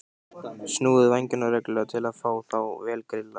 Snúið vængjunum reglulega til að fá þá vel grillaða.